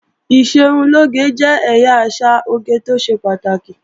Ìṣerunlóge jẹ́ ẹ̀yà àṣà oge tó ṣe pàtàkì